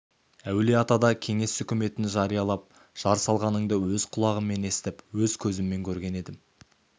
әулиеатада кеңес өкіметін жариялап жар салғаныңды өз құлағыммен естіп өз көзіммен көріп едім